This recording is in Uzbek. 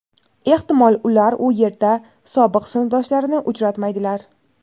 ehtimol ular u yerda sobiq sinfdoshlarini uchratmaydilar.